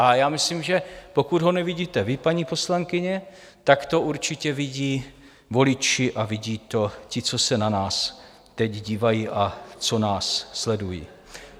A já myslím, že pokud ho nevidíte vy, paní poslankyně, tak to určitě vidí voliči a vidí to ti, co se na nás teď dívají a co nás sledují.